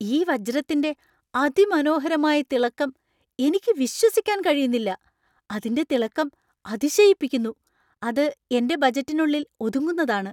ഈ വജ്രത്തിന്‍റെ അതിമനോഹരമായ തിളക്കം എനിക്ക് വിശ്വസിക്കാൻ കഴിയുന്നില്ല! അതിന്‍റെ തിളക്കം അതിശയിപ്പിക്കുന്നു , അത് എന്‍റെ ബജറ്റിനുള്ളിൽ ഒതുങ്ങുന്നതാണ്.